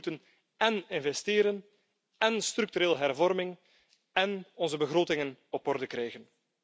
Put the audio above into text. We moeten én investeren, én structureel hervormen, én onze begrotingen op orde krijgen.